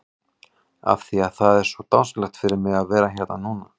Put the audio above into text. Af því að það er svo dásamlegt fyrir mig að vera hérna núna?